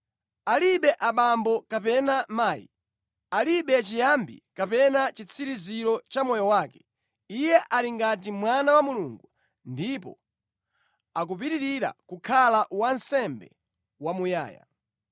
Alibe abambo kapena mayi, alibe chiyambi kapena chitsiriziro cha moyo wake. Iye ali ngati Mwana wa Mulungu ndipo akupitirira kukhala wansembe wamuyaya.